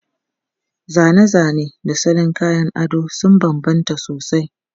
Zane-zane da salon kayan ado sun bambanta sosai.